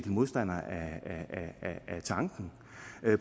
modstander af tanken